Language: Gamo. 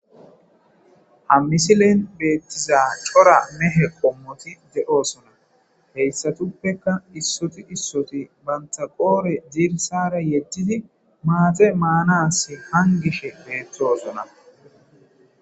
Ha misilen beettiza cora mehe qommoti dedoosona heyssatuppeka issoti issoti banta qoore dirsara yedtidi maate maanas hangishe beettoosona.